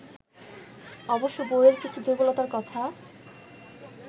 অবশ্য বইয়ের কিছু দুর্বলতার কথা